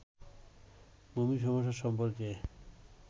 ভূমি সমস্যা সম্পর্কে